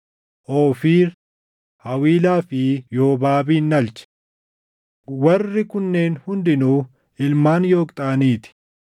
Oofiir, Hawiilaa fi Yoobaabin dhalche. Warri kunneen hundinuu ilmaan Yooqxaanii ti.